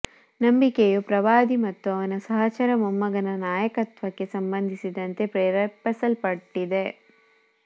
ನಂಬಿಕೆಯು ಪ್ರವಾದಿ ಮತ್ತು ಅವನ ಸಹಚರ ಮೊಮ್ಮಗನ ನಾಯಕತ್ವಕ್ಕೆ ಸಂಬಂಧಿಸಿದಂತೆ ಪ್ರೇರೇಪಿಸಲ್ಪಟ್ಟಿದೆ